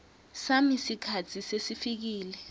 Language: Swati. sami sikhatsi sesifikile